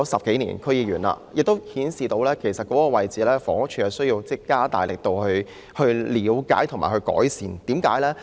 當了區議員10多年，我發現房屋署有需要加大力度了解和解決問題。